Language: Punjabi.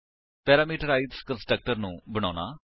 ਪੈਰਾਮੀਟਰਾਈਜ਼ਡ ਕੰਸਟਰਕਟਰ ਨੂੰ ਬਣਾਉਣਾ